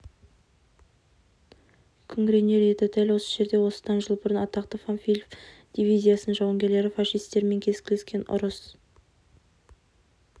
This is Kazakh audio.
күңіренер еді дәл осы жерде осыдан жыл бұрын атақты панфилов дивизиясының жауынгерлері фашистермен кескілескен ұрыс